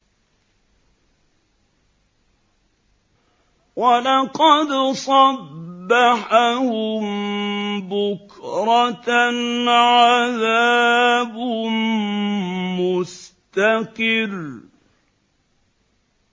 وَلَقَدْ صَبَّحَهُم بُكْرَةً عَذَابٌ مُّسْتَقِرٌّ